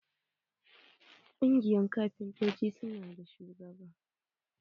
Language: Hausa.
Kungiyan kafintoci su na da shugaba.